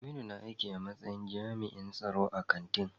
Aminu na aiki a matsayin jami'in tsaro a kantin.